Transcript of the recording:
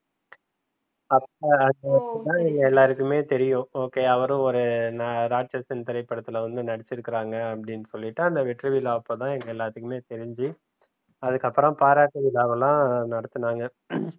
அப்ப அத வச்சிதான் எங்க எல்லாத்துக்குமே தெரியும் அப்ப okay அவரும் ஒரு ராட்சசன் திரைப்படத்துல வந்து நடிச்சிருக்காருங்க அப்டின்னு சொல்லிட்டு அந்த வெற்றி விழா அப்பதான் தெரிஞ்சி அதுக்கப்புறம் பாராட்டு விழாவெல்லாம் நடத்துனாங்க